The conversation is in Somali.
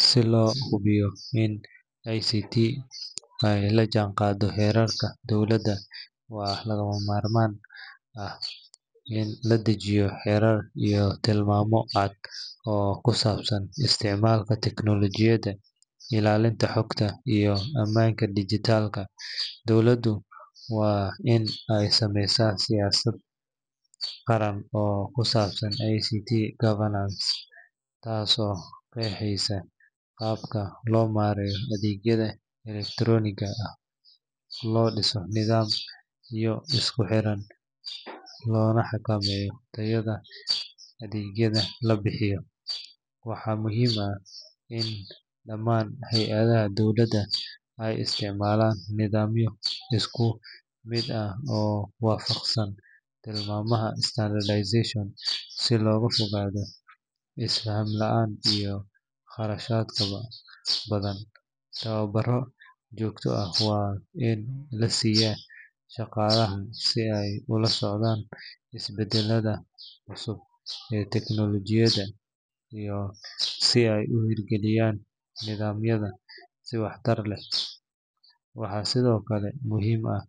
Si loo hubiyo in ICT ay la jaanqaaddo heerarka dowladda, waxaa lagama maarmaan ah in la dejiyo xeerar iyo tilmaamo cad oo ku saabsan isticmaalka tiknoolajiyada, ilaalinta xogta, iyo ammaanka dijitaalka. Dowladdu waa in ay sameysaa siyaasad qaran oo ku saabsan ICT governance taasoo qeexeysa qaabka loo maareeyo adeegyada elektarooniga ah, loo dhiso nidaamyo isku xiran, loona xakameeyo tayada adeegyada la bixiyo. Waxaa muhiim ah in dhammaan hay’adaha dowladda ay isticmaalaan nidaamyo isku mid ah oo waafaqsan tilmaamaha standardization, si looga fogaado is-faham la’aanta iyo kharashaadka badan. Tababaro joogto ah waa in la siiyaa shaqaalaha si ay ula socdaan isbeddelada cusub ee tiknoolajiyada iyo si ay u hirgeliyaan nidaamyada si waxtar leh. Waxaa sidoo kale muhiim ah